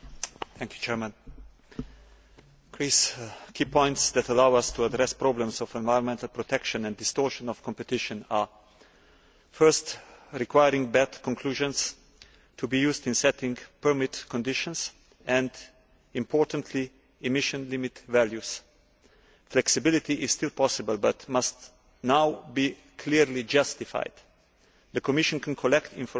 Mr President, a key point that allows us to address problems of environmental protection and distortion of competition is, firstly, requiring BAT conclusions to be used in setting permit conditions and, importantly, emission limit values. Flexibility is still possible but must now be clearly justified. The Commission can collect information